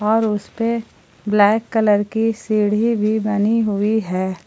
और उसपे black colour की सीढी़ भी बनी हुई है।